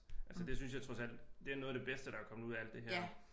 Altså det synes jeg trods alt det er noget af det bedste der er kommet ud af alt det her